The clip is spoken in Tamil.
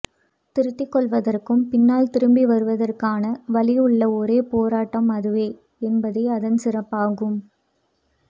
திருத்திக்கொள்வதற்கும் பின்னால் திரும்பிவருவதற்கான வழி உள்ள ஒரே போராட்டம் அதுவே என்பதே அதன் சிறப்பாகும்